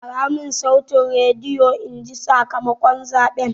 Ƙara mun sautin rediyon inji sakamakon zaɓen!